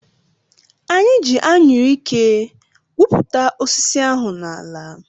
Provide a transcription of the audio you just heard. Anyị ji Anyụike gwupụta osisi ahụ n’ala